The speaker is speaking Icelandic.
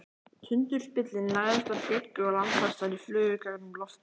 Tundurspillirinn lagðist að bryggju og landfestarnar flugu í gegnum loftið.